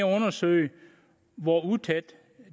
at undersøge hvor utætte